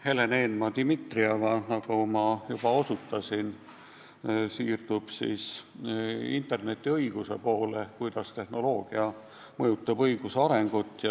Helen Eenmaa-Dimitrieva, nagu ma juba osutasin, siirdub internetiõiguse valdkonda ja lahkab, kuidas tehnoloogia mõjutab õiguse arengut.